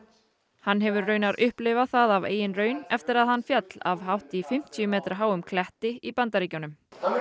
hann hefur raunar upplifað það af eigin raun eftir að hann féll af hátt í fimmtíu metra háum kletti í Bandaríkjunum